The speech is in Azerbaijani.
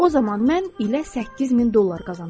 O zaman mən ilə 8000 dollar qazanırdım.